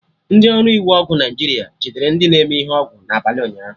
Ndị ọrụ iwu ọgwụ Naijiria jidere ndị na-eme ihe ọgwụ na abalị ụnyaahụ